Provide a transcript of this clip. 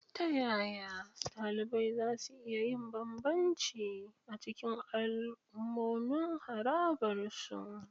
Ta yaya ɗalibai za su iya yin bambanci a cikin al'ummomin harabar su?